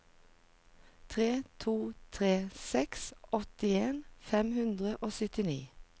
tre to tre seks åttien fem hundre og syttini